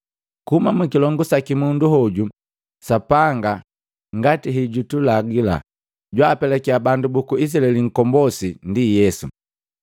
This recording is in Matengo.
Kuhuma mukilongu saki mundu hoju, Sapanga, ngati hejutulagila, jwaapelakia bandu buku Izilaeli nkombosi, ndi Yesu.